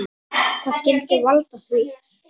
Hvað skyldi valda því?